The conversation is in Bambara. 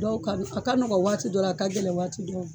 Dɔw ka a ka nɔgɔ waati dɔ la, a ka gɛlɛn waati dɔ.